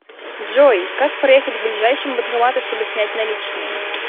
джой как проехать к ближайшему банкомату чтобы снять наличные